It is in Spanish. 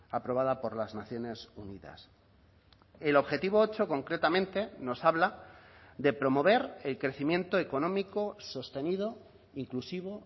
aprobada por las naciones unidas el objetivo ocho concretamente nos habla de promover el crecimiento económico sostenido inclusivo